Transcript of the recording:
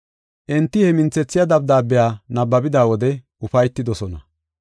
Enti he minthethiya dabdaabiya nabbabida wode ufaytidosona.